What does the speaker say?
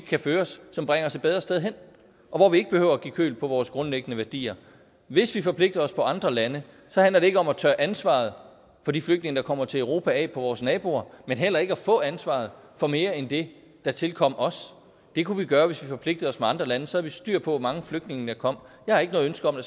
kan føres som bringer os et bedre sted hen og hvor vi ikke behøver at give køb på vores grundlæggende værdier hvis vi forpligter os til andre lande handler det ikke om at tørre ansvaret for de flygtninge der kommer til europa af på vores naboer men heller ikke at få ansvaret for mere end det der tilkommer os det kunne vi gøre hvis vi forpligtede os med andre lande så havde vi styr på hvor mange flygtninge der kom jeg har ikke noget ønske om at